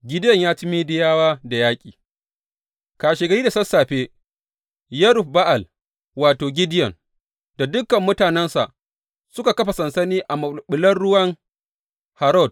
Gideyon ya ci Midiyawa da yaƙi Kashegari da sassafe, Yerub Ba’al wato, Gideyon da dukan mutanensa suka kafa sansani a maɓulɓulan Harod.